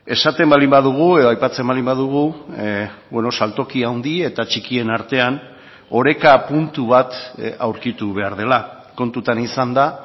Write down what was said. esaten baldin badugu edo aipatzen baldin badugu saltoki handi eta txikien artean oreka puntu bat aurkitu behar dela kontutan izanda